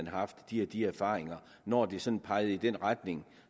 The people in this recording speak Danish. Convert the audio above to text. haft de og de erfaringer når det sådan pegede i den retning